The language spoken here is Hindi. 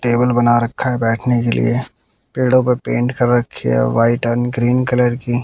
टेबल बना रखा है बैठने के लिए पेड़ों पर पेंट कर रखी है व्हाइट एंड ग्रीन कलर की।